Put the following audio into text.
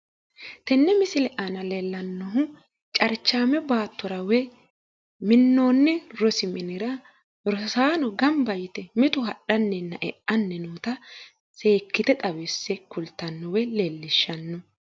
Tenne misile aana leellannohu carichaame baattora woyi minnoonni rosi minira rosaano gamba yite mitu hadhanninna e'anni noota seekkite xawisse kultanno woy leellishshanno.